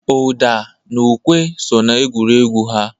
Ụda na ukwe so n'egwuregwu ha.